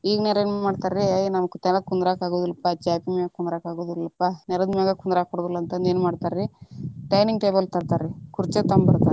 ಈಗಿನವರ ಏನ್ ಮಾಡ್ತಾರ ರೀ, ಅಯ್ಯ ನಮಗ ತೆಳಗ ಕುಂದ್ರಾಕ ಅಗುದಿಲ್ಲಪಾ ಚಾಪಿ ಮ್ಯಾಗ ಕುಂದ್ರಾಕ ಆಗುದಿಲ್ಲಾಪಾ ನೇಲದ ಮ್ಯಾಗ ಕುಂದ್ರಾಕ ಬರುದಿಲ್ಲಾ ಅಂತಂದ್ ಏನ ಮಾಡ್ತಾರ ರೀ dining table ತರ್ತಾರ ರೀ ಕುರ್ಚೆ ತೊಂಬರ್ತಾರರಿ.